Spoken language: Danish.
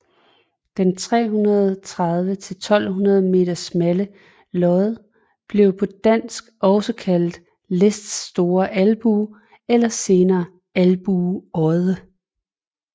Den 330 til 1200 meter smalle odde blev på dansk også kaldt Lists Store Albue eller senere Albue Odde